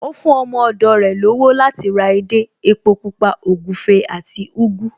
Ó fún ọmọ ọ̀dọ̀ rẹ̀ lọ́wọ́ láti ra edé, epo Pupa, ògúfe àti ugu